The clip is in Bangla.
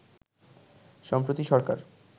সম্প্রতি সরকার